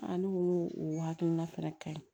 ne ko n ko o hakilina fɛnɛ ka ɲi